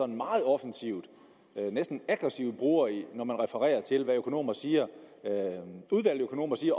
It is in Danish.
meget offensivt næsten aggressivt bruger når man refererer til hvad udvalgte økonomer siger